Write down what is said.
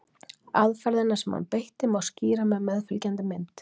Aðferðina sem hann beitti má skýra með meðfylgjandi mynd.